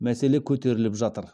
мәселе көтеріліп жатыр